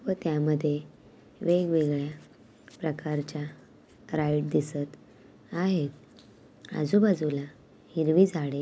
व त्यामध्ये वेगवेगळया प्रकारच्या राईड दिसत आहेत आजुबाजूला हिरवी झाडे--